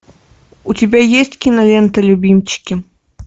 у тебя есть кинолента любимчики